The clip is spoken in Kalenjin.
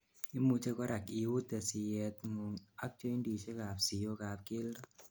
imuchei korak iuute siyetngung ak jointisiek ab siyook ab keldo